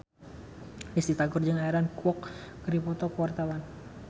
Risty Tagor jeung Aaron Kwok keur dipoto ku wartawan